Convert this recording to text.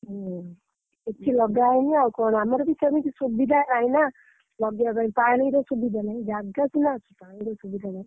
ହୁଁ କିଛି ଲଗାହେଇନି ଆଉ କଣ ଆମର ବି ସେମିତି ସୁବିଧା ନାହିଁ ନା ଲଗେଇଆ ପାଇଁ ପାଣିର ସୁବିଧା ନାହିଁ। ଜାଗା ସିନା ଅଛି ପାଣିର ସୁବିଧା ନାହିଁ।